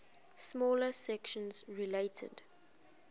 smaller sections related